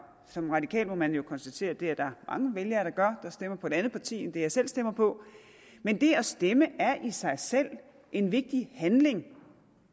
som radikal må man jo konstatere at det er der mange vælgere der gør stemmer på et andet parti end det jeg selv stemmer på men det at stemme er i sig selv en vigtig handling